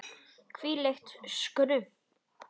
Hvílíkt skrum!